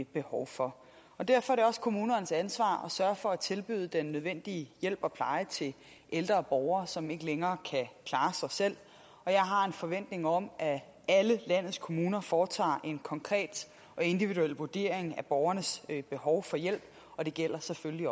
behov for derfor er det også kommunernes ansvar at sørge for at tilbyde den nødvendige hjælp og pleje til ældre borgere som ikke længere kan klare sig selv og jeg har en forventning om at alle landets kommuner foretager en konkret og individuel vurdering af borgernes behov for hjælp og det gælder selvfølgelig